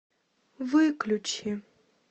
выключи